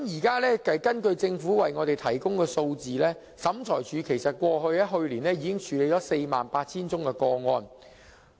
根據政府向我們提供的數字，審裁處去年已處理 48,000 宗個案。